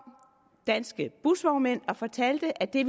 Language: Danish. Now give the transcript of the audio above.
danske busvognmænd og fortalte at det